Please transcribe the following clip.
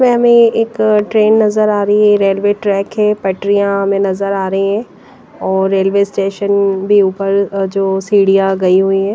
में हमें एक ट्रेन नजर आ रही है रेलवे ट्रैक है पटरियां हमें नजर आ रही हैं और रेलवे स्टेशन भी ऊपर जो सीढ़ियां गई हुई है।